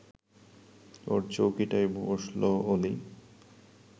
ওর চৌকিটায় বসল অলি